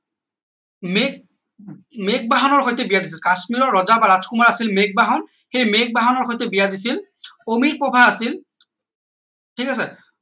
মেঘ মেঘ বাহনৰ সৈতে বিয়া পাতিছিল কাশ্মীৰৰ ৰজা বা ৰাজকুমাৰ আছিল মেঘ বাহন সেই মেঘ বাহনৰ সৈতে বিয়া দিছিল অমিপ্ৰভা আছিল ঠিক আছে